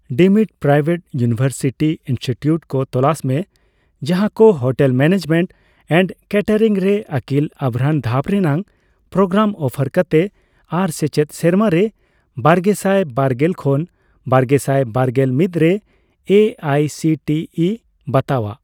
Deemed private university institute ᱠᱚ ᱛᱚᱞᱟᱥ ᱢᱮ ᱡᱟᱦᱟᱠᱚ ᱦᱳᱴᱮᱞ ᱢᱮᱱᱮᱡᱢᱮᱱᱴ ᱮᱱᱰ ᱠᱮᱴᱮᱨᱤᱝ ᱨᱮ ᱟᱹᱠᱤᱞ ᱟᱵᱷᱨᱟᱱ ᱫᱷᱟᱯ ᱨᱮᱱᱟᱜ ᱯᱨᱳᱜᱨᱟᱢ ᱚᱯᱷᱟᱨ ᱠᱟᱛᱮ ᱟᱨ ᱥᱮᱪᱮᱫ ᱥᱮᱨᱢᱟᱨᱮ ᱵᱟᱜᱮᱥᱟᱭ ᱵᱟᱨᱜᱮᱞ ᱠᱷᱚᱱ ᱵᱟᱨᱜᱮᱥᱟᱭ ᱵᱟᱨᱜᱮᱞ ᱢᱤᱛ ᱨᱮ A I C T E ᱵᱟᱛᱟᱣᱟᱜ ᱾